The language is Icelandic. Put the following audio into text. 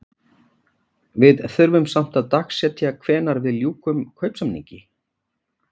Við þurfum samt að dagsetja hvenær við ljúkum kaupsamningi?